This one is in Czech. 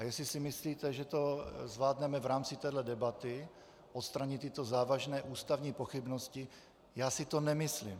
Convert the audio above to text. A jestli si myslíte, že to zvládneme v rámci téhle debaty, odstranit tyto závažné ústavní pochybnosti, já si to nemyslím.